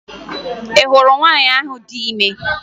Ị hụrụ nwaanyị ahụ dị ime?